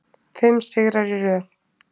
Fimm sigrar í röð